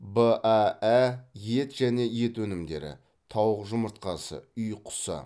баә ет және ет өнімдері тауық жұмыртқасы үй құсы